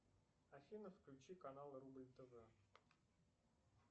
афина включи канал рубль тв